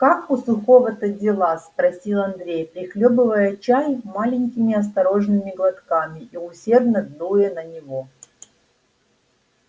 как у сухого-то дела спросил андрей прихлёбывая чай маленькими осторожными глотками и усердно дуя на него